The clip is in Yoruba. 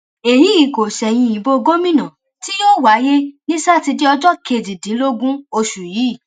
èyí kò ṣẹyìn ìbò gómìnà tí yóò wáyé ní sátidé ọjọ kejìdínlógún oṣù yìí